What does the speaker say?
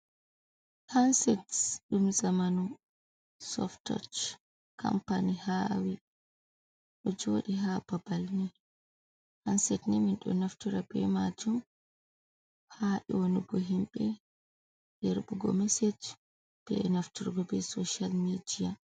Hanset dum zamanu soft toch company hawi, do jodi ha babal je hansed je min do naftora be majum ha onugo himbe hebugo meseje be nafturgo be social media.